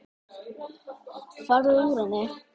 Farðu úr henni.